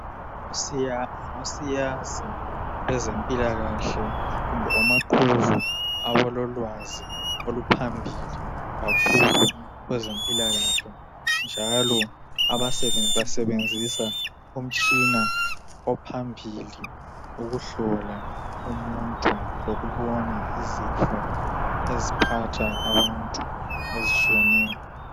Ngosiyazi bezempilakahle kumbe omaqhuzu abalolwazi oluphambili kakhulu kwezempilakahle njalo basebenzisa umtshini ophambili ukuhlola umuntu lokubona izifo eziphatha abantu ezitshiyeneyo